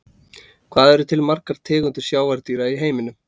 hvað eru til margar tegundir sjávardýra í heiminum